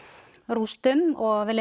rústum og við